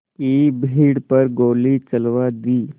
की भीड़ पर गोली चलवा दी